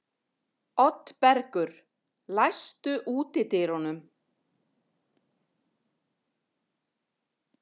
Oddbergur, læstu útidyrunum.